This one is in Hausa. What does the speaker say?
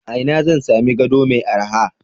A ina zan sami gado mai araha?